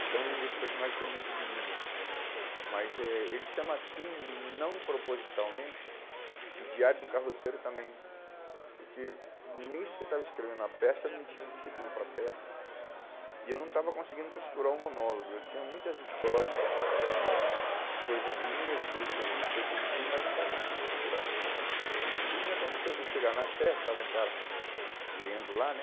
então ele esse personagem tem muito de mim nele mas eh ele chama Kim não propositalmente e Diário de um Carroceiro também porque nesse que eu estava escrevendo a peça, eu não tinha um título para a peça e eu não estava conseguindo costurar o monólogo eu tinha muitas histórias de coisas minhas, de coisas que eu vi de coisas que eu vivi, mas não estava conseguindo costurar e aconteceu de eu chegar na Sé, estava um cara lendo lá, né